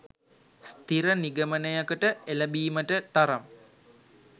ස්ථිර නිගමනයකට එළබීමට තරම්